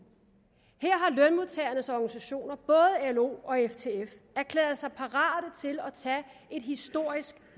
her har lønmodtagernes organisationer både lo og ftf erklæret sig parate til at tage et historisk